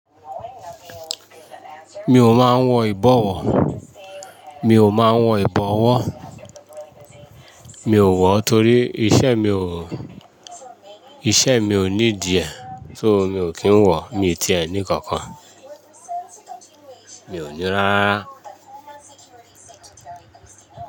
Mi ò mọ à n wọ ìbọ̀wọ̀. Mi ò mọ à wọ ìbọ̀wọ̀. Mi ò wọ torí iṣẹ mi ò, iṣẹ mi ò ní dì ẹ́, so mi ò kí n wọ. Mi ti ẹ ní kankan. Mi ò ni rarara.